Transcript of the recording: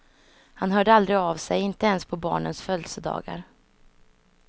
Han hörde aldrig av sig, inte ens på barnens födelsedagar.